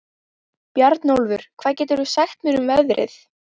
Bjarnólfur, hvað geturðu sagt mér um veðrið?